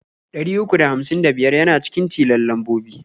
Ɗari uku da hamsin da biyar yana cikin tilon lambobi.